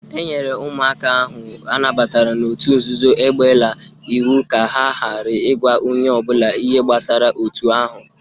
E nyere ụmụaka ahụ a nabatara n'otu nzuzo egbela iwu ka ha ghara ịgwa onye ọbụla ihe gbasara otu ahụ